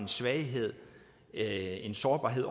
svaghed eller en sårbarhed